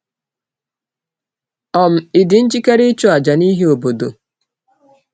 um Ị̀ dị njikere ịchụ àjà n’ihi obodo?